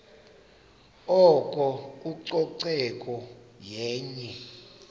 oko ucoceko yenye